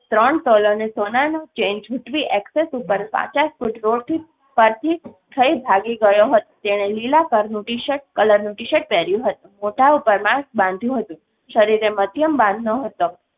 ત્રણ તોલાની સોનાનું ચેન જુટવી એકસેસ ઉપર પાંચેક ફૂટ રોડથી પરથી થઈ ભાગી ગયો હતો. તેણે લીલા કરનું ટીશર્ટ કલરનું ટીશર્ટ પહેર્યું હતું. મોઢા ઉપર માસ્ક બાંધ્યું હતું. શરીરે મધ્યમ બાંધ ન હતા